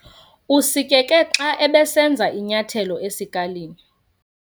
Usikeke xa ebesenza inyathelo esikalini.